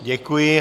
Děkuji.